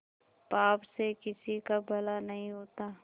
पाप से किसी का भला नहीं होता